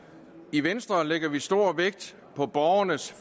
i venstre lægger vi stor vægt på borgernes